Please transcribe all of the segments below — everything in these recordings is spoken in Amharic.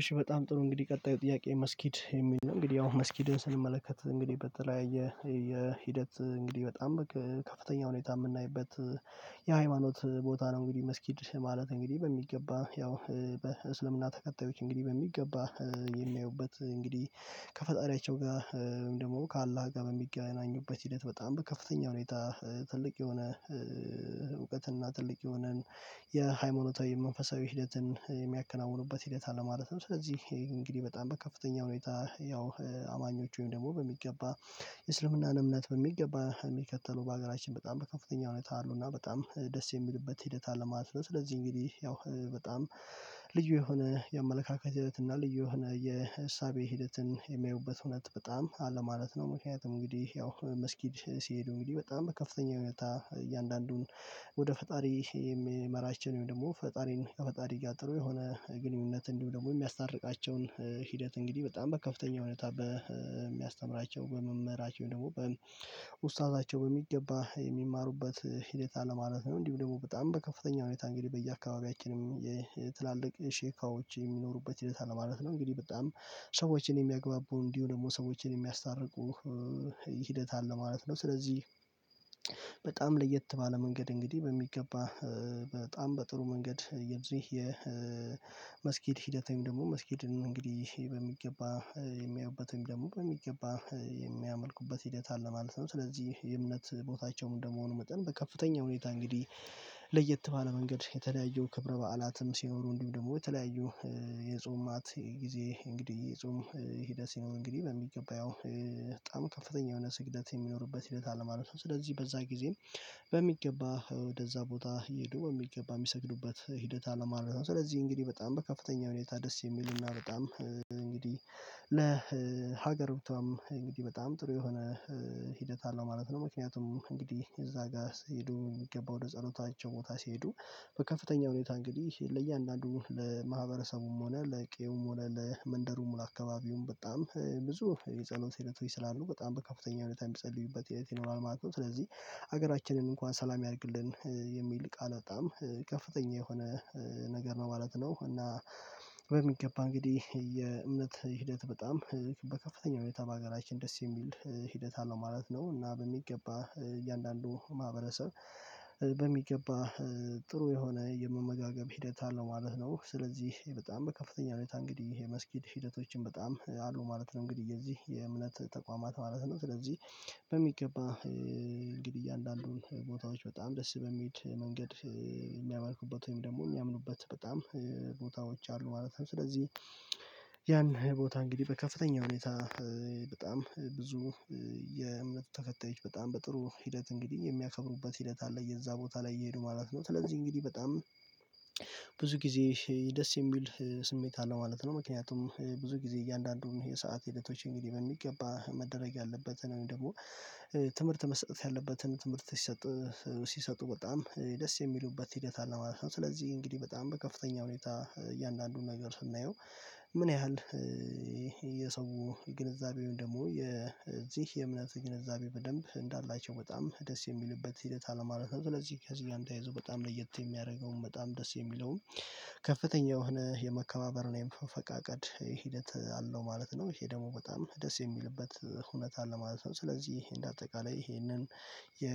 እሺ በጣም ጥሩ እንግዲህ ቀጣዩ ጥያቄ መስጊድ የሚል ነው እንግዲህ ያው መስጊድን ስንመለከት እንግዲህ በተለያየ የሂደት እንግዲህ በጣም ከፍተኛ ሁኔታ የምናይበት የሃይማኖት ቦታ ነው እንግዲህ መስጊድ ማለት እንግዲህ በሚገባ ያው በእስልምና ተከታዮች እንግዲህ በሚገባ የሚያዩበት እንግዲህ ከፈጣሪያቸው ጋ ወይም ደግሞ ከአላህ ጋር በሚገናኙበት ሂደት በጣም በከፍተኛ ሁኔታ ትልቅ የሆነ ትልቅ የሆነን የሃይማኖታዊ መንፈሳዊ ሂደትን የሚያከናውኑበት ሂደት አለ ማለትም ስለዚህ እንግዲህ በጣም በከፍተኛ ሁኔታ ያው አማኞች ወይም ደግሞ በሚገባ የእስልምናን እምነት በሚገባ የሚከተሉ በሀገራችን በጣም በከፍተኛ ሁኔታ አሉ እና በጣም ደስ የሚልበት ሂደት አለ ማለት ነው ስለዚህ እንግዲህ ያው በጣም ልዩ የሆነ የአመለካከት ሂደት እና ልዩ የሆነ የእሳቤ ሂደትን የሚያዩበት ሁነት በጣም አለ ማለት ነው ምክንያቱም እንግዲህ ያው መስጊድ ሲሄዱ እንግዲህ በጣም ከፍተኛ ሁኔታ እያንዳንዱን ወደ ፈጣሪ የሚመራችን ወይም ደግሞ ፈጣሪን ከፈጣሪ ጋር ጥሩ የሆነ ግንኙነት እንዲሁም ደግሞ የሚያስታርቃቸውን ሂደት እንግዲህ በጣም በከፍተኛ ሁኔታ በሚያስተምራቸው በመምህራቸው ደግሞ በኡስታዛቸው በሚገባ የሚማሩበት ሂደት አለ ማለት ነው እንዲሁም ደግሞ በጣም በከፍተኛ ሁኔታ እንግዲህ በየአካባቢያችንም የትላልቅ ሼካዎች የሚኖሩበት ሂደት አለ ማለት ነው እንግዲህ በጣም ሰዎችን የሚያግባቡ እንዲሁ ደግሞ ሰዎችን የሚያስታርቁ ሂደት አለ ማለት ነው ስለዚህ በጣም ለየት ባለ መንገድ እንግዲህ በሚገባ በጣም በጥሩ መንገድ የዚህ የመስጊድ ሂደት ወይም ደግሞ መስጊድን እንግዲህ በሚገባ የሚያዩበት ወይም ደግሞ በሚገባ የሚያመልኩበት ሂደት አለ ማለት ነው ስለዚህ የእምነት ቦታቸውም እንደመሆኑ መጠን በከፍተኛ ሁኔታ እንግዲህ ለየት ባለ መንገድ የተለያዩ ክብረ በዓላትም ሲኖሩ እንዲሁ ደግሞ የተለያዩ ጊዜ እንግዲህ የጾም ሂደት ሲሆን እንግዲህ በሚገባ ያው በጣም ከፍተኛ የሆነ ስግደት የሚኖርበት ሂደት አለ ማለት ነው ስለዚህ በዛ ጊዜም በሚገባ ወደዛ ቦታ ይሄዱ በሚገባ የሚሰግዱበት ሂደት አለ ማለት ነው ስለዚህ እንግዲህ በጣም በከፍተኛ ሁኔታ ደስ የሚሉና በጣም እንግዲህ ለሀገርብቷም እንግዲህ በጣም ጥሩ የሆነ ሂደት አለው ማለት ነው ምክንያቱም እንግዲህ እዛ ጋር ሲሄዱ የሚገባው ወደ ጸሎታቸው ቦታ ሲሄዱ በከፍተኛ ሁኔታ እንግዲህ ለእያንዳንዱ ለማህበረሰቡም ሆነ ለቄውም ሆነ ለመንደሩም ለአካባቢውም በጣም ብዙ የጸሎት ሂደቶች ስላሉ በጣም በከፍተኛ ሁኔታ ሚፀልዩበት ሂደት ይኖራል ማለት ነው ስለዚህ ሀገራችንን እንኳን ሰላም ያርግልን የሚል ቃል በጣም ከፍተኛ የሆነ ነገር ነው ማለት ነው እና በሚገባ እንግዲህ የእምነት ሂደት በጣም በከፍተኛ በሀገራችን ደስ የሚል ሂደት አለው ማለት ነው እና በሚገባ እያንዳንዱ ማህበረሰብ በሚገባ ጥሩ የሆነ የመመጋገብ ሂደት አለው ማለት ነው ስለዚህ በጣም በከፍተኛ ሁኔታ እንግዲህ ይሄ መስጊድ ሂደቶችን በጣም አሉ ማለት ነው እንግዲህ የዚህ የእምነት ተቋማት ማለት ነው ስለዚህ በሚገባ እንግዲህ እያንዳንዱን ቦታዎች በጣም ደስ በሚል መንገድ የሚያመልኩበት ወይም ደግሞ የሚያምኑበት በጣም ቦታዎች አሉ ማለት ነው ስለዚህ ያን ቦታ እንግዲህ በከፍተኛ ሁኔታ በጣም ብዙ የእምነት ተከታዮች በጣም በጥሩ ሂደት እንግዲህ የሚያከብሩበት ሂደት አለ የዛ ቦታ ላይ እየሄዱ ማለት ነው ስለዚህ እንግዲህ በጣም ብዙ ጊዜ ደስ የሚል ስሜት አለው ማለት ነው ምክንያቱም ብዙ ጊዜ እያንዳንዱን የሰዓት ሂደቶች እንግዲህ በሚገባ መደረግ ያለበትን ወይም ደግሞ ትምህርት መሰጠት ያለበትን ትምህርት ሲሰጥ ሲሰጡ በጣም ደስ የሚሉበት ሂደት አለ ማለት ነው ስለዚህ እንግዲህ በጣም በከፍተኛ ሁኔታ እያንዳንዱን ነገር ስናየው ምን ያህል የሰው ግንዛቤ ወይም ደግሞ የዚህ የእምነት ግንዛቤ በደንብ እንዳላቸው በጣም ደስ የሚሉበት ሂደት አለ ማለት ነው ስለዚህ ከዚህ ጋም ተያይዞ በጣም ለየት የሚያደርገውም በጣም ደስ የሚለውም ከፍተኛ የሆነ የመከባበር እና የመፈቃቀድ ሂደት አለው ማለት ነው ይሄ ደግሞ በጣም ደስ የሚልበት እውነት አለ ማለት ነው ስለዚህ እንደ አጠቃላይ ይሄንን የ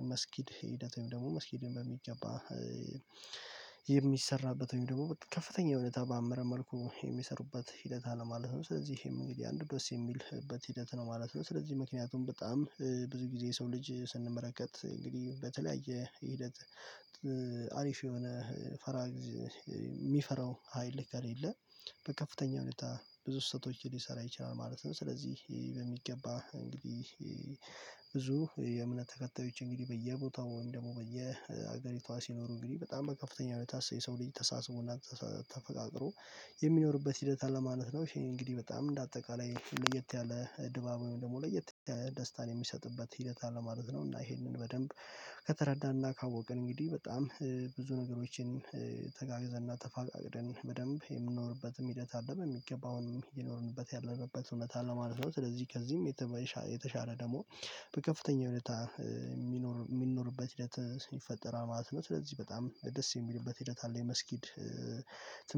የመስጊድ ሂደት ወይም ደግሞ መስጊድን በሚገባ የሚሰራበት ወይም ደግሞ ከፍተኛ የሆነ ባማረ መልኩ የሚሰሩበት ሂደት አለ ማለት ነው ስለዚህም እንግዲህ አንዱ የሚልበት ሂደት ነው ማለት ነው ስለዚህ ምክንያቱም በጣም ብዙ ጊዜ የሰው ልጅ ስንመለከት እንግዲህ በተለያየ ሂደት አሪፍ የሆነ ፈራ የሚፈራው ሀይል ከሌለ በከፍተኛ ሁኔታ ብዙ ስህተቶችን ሊሰራ ይችላል ማለት ነው ስለዚህ በሚገባ እንግዲህ ብዙ የእምነት ተከታዮች እንግዲህ በየቦታው ወይም ደግሞ በየሀገሪቷ ሲኖሩ እንግዲህ በጣም በከፍተኛ ሁኔታ የሰው ልጅ ተሳስቦና ተፈቃቅሮ የሚኖርበት ሂደት አለ ማለት ነው ይሄ እንግዲህ በጣም እንደ አጠቃላይ ለየት ያለ ድባብ ወይም ደግሞ ለየት ደስታን የሚሰጥበት ሂደት አለ ማለት ነው እና ይሄንን በደንብ ከተረዳንና ካወቅን እንግዲህ በጣም ብዙ ነገሮችን ተጋግዘን እና ተፈቃቅረን በደንብ የምኖርበትም ሂደት አለም በሚገባውንም እየኖርንበት ያለንበት እውነት አለው ማለት ነው ስለዚህ ከዚህም የተሻለ ደግሞ በከፍተኛ ሁኔታ የሚኖር የሚኖርበት ሂደት ይፈጠራል ማለት ነው ስለዚህ በጣም ደስ የሚልበት ሂደት አለ የመስጊድ ትምህርት